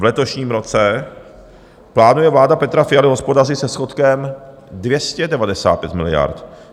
V letošním roce plánuje vláda Petra Fialy hospodařit se schodkem 295 miliard.